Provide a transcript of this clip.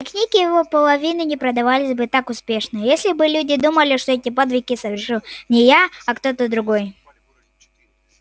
мои книги и вполовину не продавались бы так успешно если бы люди думали что эти подвиги совершил не я а кто-то другой